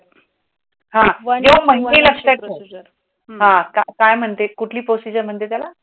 लक्षात ठेव, काय महणतेत कुठली प्रोसिझर म्हणते तेला?